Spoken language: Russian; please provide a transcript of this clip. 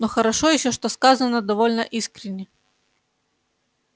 но хорошо ещё что сказано довольно искренне